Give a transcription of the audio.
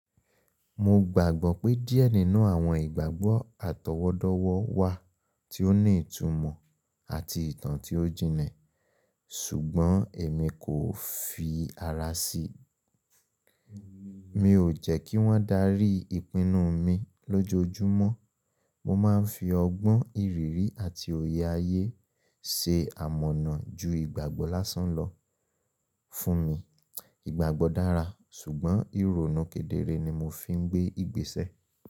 Mo gbàgbọ́ pé díẹ̀ nínú àwọn ìgbàgbọ́ àtọwọ́dọ́wọ́ wà tí ó ní ìtumọ̀ àti ìtàn tí ó jinlẹ̀, ṣùgbọ́n èmi kò fi ara sí. Mi ò jẹ́ kí wọ́n darí ìpinnu mi lójoojúmọ́. Mo máa ń fi ọgbọ́n ìrírí àti òye ayé se àmọ̀nà ju ìgbàgbọ́ lásán lọ fún mi. Ìgbàgbọ́ dára, ṣùgbọ́n ìrònú kedere ni mo fi ń gbé ìgbésẹ̀.